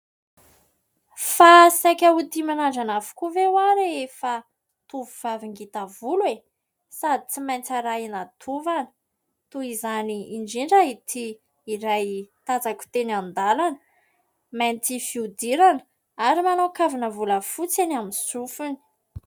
Fa saika ho tia mirandrana avokoa ve ho aho rehefa tovovavy ngita volo e? Sady tsy maintsy arahina tovana. Toy izany indrindra ity iray tazako teny an-dalana, mainty fihodirana, ary manao kavina volafotsy eny amin'ny sofiny.